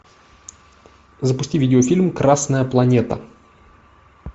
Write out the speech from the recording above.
запусти видеофильм красная планета